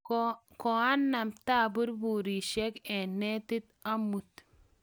koanam taburburisiek eng' netit amut